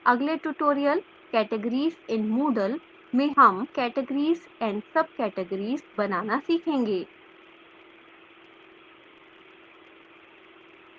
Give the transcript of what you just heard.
अगले tutorial categories in moodle में हम categories & subcategories बनाना सीखेंगे